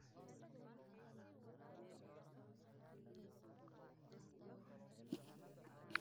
Daaweynta waxaa ku jiri kara prednisone oo qiyaaso kala qaybsan.